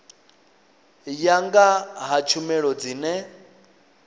ya nga ha tshumelo dzine